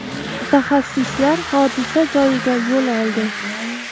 Mutaxassislar hodisa joyiga yo‘l oldi.